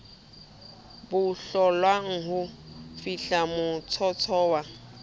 bo hlollang ha fihlamotsotso wa